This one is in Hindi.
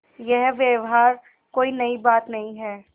यह व्यवहार कोई नई बात नहीं है